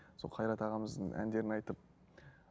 сол қайрат ағамыздың әндерін айтып